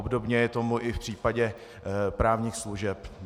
Obdobně je tomu i v případě právních služeb.